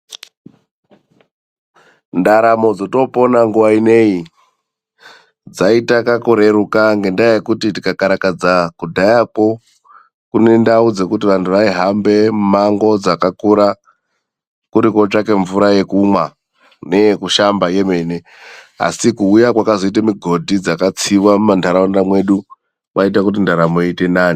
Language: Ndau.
Ndaramo dzotoopona nguwa inei dzaita kakureruka, ngendaa yekuti tikakarakadza kudhayakwo kune ndau dzekuti vantu vaihambe mimango dzakakura kuri kootsvake mvura yekumwa neyekushamba yemene. Asi kuuya kwakazoite migodhi dzakatsiwa mumantaraunda mwedu kwaita kuti ndaramo iite nani.